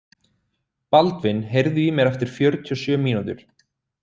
Baldvin, heyrðu í mér eftir fjörutíu og sjö mínútur.